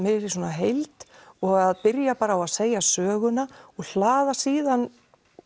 heild og að byrja bara á því að segja söguna og hlaða síðan